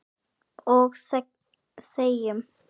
Og þegjum.